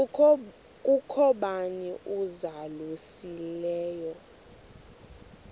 kukho bani uzalusileyo